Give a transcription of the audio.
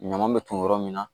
Ɲaman bɛ ton yɔrɔ min na